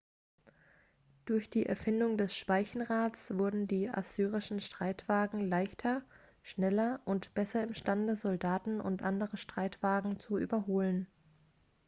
durch die erfindung des speichenrads wurden die assyrischen streitwagen leichter schneller und besser imstande soldaten und andere streitwagen zu überholen